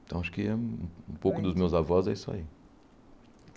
Então, acho que um pouco dos meus avós é isso aí.